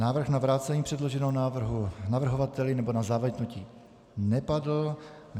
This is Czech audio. Návrh na vrácení předloženého návrhu navrhovateli nebo na zamítnutí nepadl.